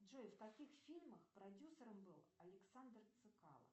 джой в каких фильмах продюсером был александр цекало